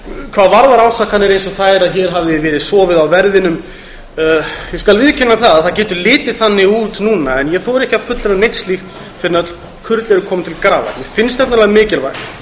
hvað varðar ásakanir eins og þær að hér hafi verið sofið á verðinum ég skal viðurkenna að það getur litið þannig út núna en ég þori ekki að fullyrða neitt slíkt fyrr en öll kurl eru komin til grafar mér finnst mikilvægt